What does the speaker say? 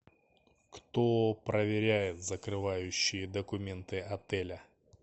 кто проверяет закрывающие документы отеля